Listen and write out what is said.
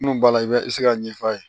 Munnu b'a la i bɛ se k'a ɲɛfɔ a ye